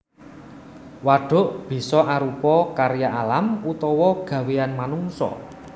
Wadhuk bisa arupa karya alam utawa gawéyan manungsa